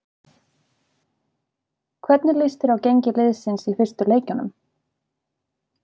Hvernig lýst þér á gengi liðsins í fyrstu leikjunum?